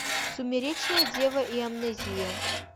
сумеречная дева и амнезия